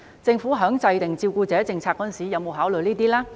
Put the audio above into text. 政府在制訂照顧者政策時有否考慮這些因素呢？